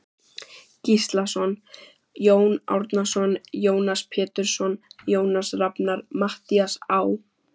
Gíslason, Jón Árnason, Jónas Pétursson, Jónas Rafnar, Matthías Á.